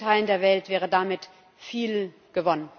In vielen Teilen der Welt wäre damit viel gewonnen.